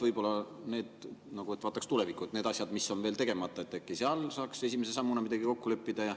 Võib-olla vaataks tulevikku ja äkki saaks need asjad, mis on veel tegemata, ja seal esimese sammuna midagi kokku leppida.